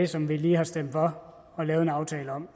som vi lige har stemt for og lavet en aftale om